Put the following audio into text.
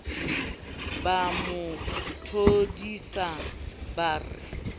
ba mo thodise ba re